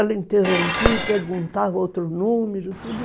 Ela interrompia e perguntava outro número, tudo.